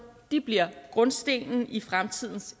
bliver grundstenen i fremtidens